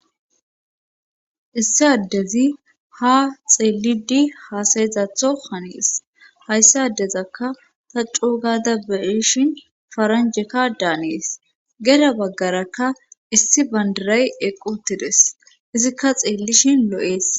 issi addezi ha xeellidi haasayezatho hanees hayssi addezakka ta cuugaada beishin faranjekka daanees gera baggarakka issi bandiray equtides izikka xeellishin lo7ees